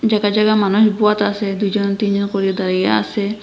জাগা জাগা মানুষ বোয়াত আসে দুইজন তিনজন করে দাঁড়িয়ে আসে।